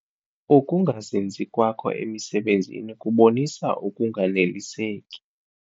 Uukungazinzi kwakho emisebenzini kubonisa ukunganeliseki.